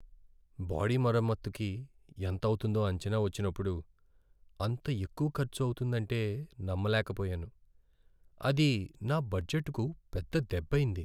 Body మరమ్మతుకి ఎంతవుతుందో అంచనా వచ్చినప్పుడు , అంత ఎక్కువ ఖర్చు అవుతుందంటే నమ్మలేకపోయాను. అది నా బడ్జెట్కు పెద్ద దెబ్బైంది.